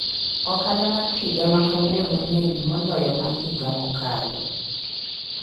Ohala mar higa ma kawuono ng'eny moloyo ma higa mokalo.